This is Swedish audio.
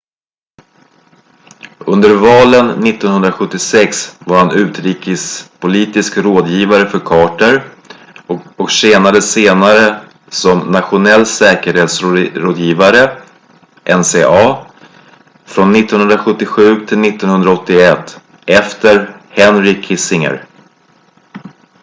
under valen 1976 var han utrikespolitisk rådgivare för carter och tjänade senare som nationell säkerhetsrådgivare nsa från 1977 till 1981 efter henry kissinger